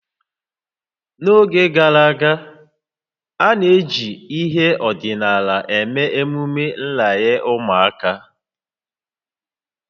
N'oge gara aga, a na-eji ihe ọdịnala eme emume nranye ụmụaka